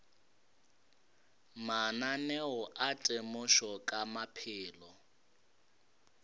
mananeo a temošo ka maphelo